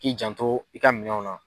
K'i jan to i ka minɛnw na